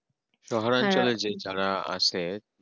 অঞ্চলে যে যারা আছে